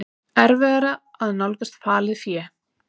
Erfiðara að nálgast falið fé